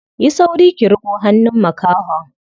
Yi sauri ki riƙo hannun makahon.